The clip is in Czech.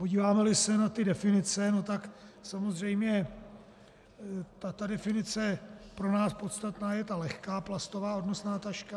Podíváme-li se na ty definice, no tak samozřejmě definice pro nás podstatná je ta lehká plastová odnosná taška.